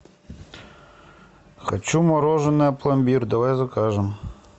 хочу мороженое пломбир давай закажем